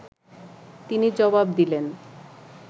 তিনি জবাব দিলেন